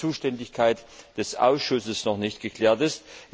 die Zuständigkeit des Ausschusses noch nicht geklärt ist.